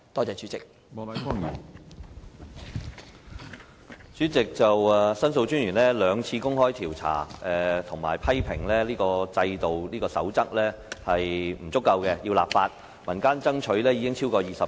主席，申訴專員公署曾進行兩次調查，批評《守則》並不完善，須立法執行，而民間爭取亦超過20年。